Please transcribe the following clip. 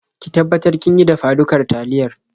Ki tabbatar kin yi dafa-dukar taliya.